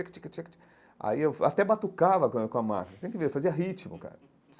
Aí eu até batucava com a com a máquina, você tem que ver, fazia ritmo, cara.